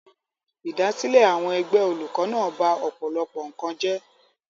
Idasesile àwọn ẹgbẹ́ olùkó náà ba ọ̀pọ̀lọpọ̀ nǹkan jẹ́.